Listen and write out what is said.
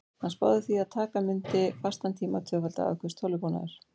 Hann spáði því að taka mundi fastan tíma að tvöfalda afköst tölvubúnaðar.